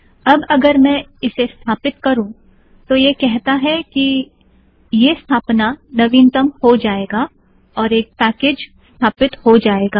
अब अगर मैं इसे स्थापित करू तो यह कहता है कि यह स्थापना नवीनतम हो जायेगा और एक पैकेज़ स्थापित हो जायेगा